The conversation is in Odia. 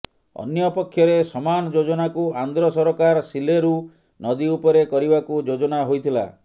ଅନ୍ୟପକ୍ଷରେ ସମାନ ଯୋଜନାକୁ ଆନ୍ଧ୍ର ସରକାର ସିଲେରୁ ନଦୀଉପରେ କରିବାକୁ ଯୋଜନା ହୋଇଥିଲା